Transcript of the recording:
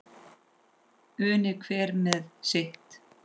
Unir hver með sitt.